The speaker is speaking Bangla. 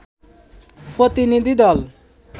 প্রতিনিধি দল